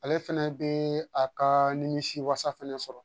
Ale fɛnɛ bɛ a ka nimisi wasa fɛnɛ sɔrɔ